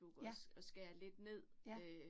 Ja. Ja